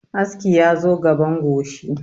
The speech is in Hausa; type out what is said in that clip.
Aski ya zo gaban goshi